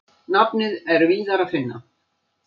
Nafnið er víðar að finna.